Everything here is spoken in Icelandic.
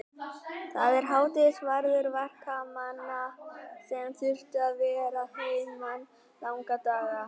Það var hádegisverður verkamanna sem þurftu að vera að heiman langa daga.